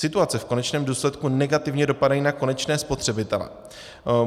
Situace v konečném důsledku negativně dopadá na konečné spotřebitele.